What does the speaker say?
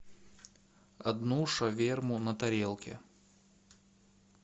одну шаверму на тарелке